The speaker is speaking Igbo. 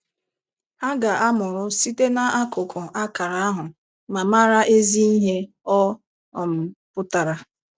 Ha ga-“amụrụ” site n’akụkụ akara ahụ ma “mara” ezi ihe ọ um pụtara.